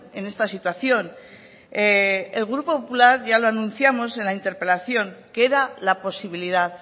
en esta situación el grupo popular ya lo anunciamos en la interpelación que era la posibilidad